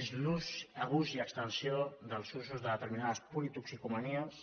és l’ús abús i extensió dels usos de determinades politoxicomanies